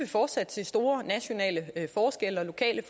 fortsat se store nationale forskelle og lokale